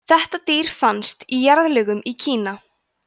þetta dýr fannst í jarðlögum í kína